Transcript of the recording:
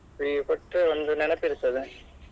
ಈಗ ಕೊಟ್ರೆ ಒಂದು ನೆನೆಪು ಇರ್ತದೆ.